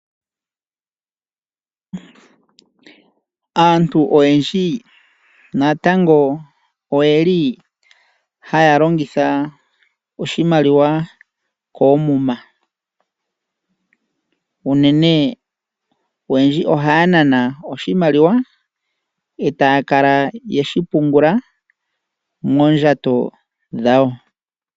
Aantu oyendji natango oyeli haya longitha oshimaliwa koomuna. Unene oyendji oya nana oshimaliwa eteya kala yeshipungula moondjato dhawo.